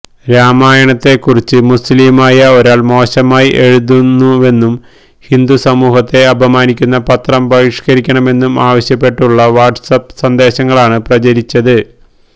രാമായണത്തെ കുറിച്ച് മുസ്ലിമായ ഒരാള് മോശമായി എഴുതുന്നുവെന്നും ഹിന്ദു സമൂഹത്തെ അപമാനിക്കുന്ന പത്രം ബഹിഷ്കരിക്കണമെന്നും ആവശ്യപ്പെട്ടുള്ള വാട്സ്ആപ് സന്ദേശങ്ങളാണ് പ്രചരിച്ചത്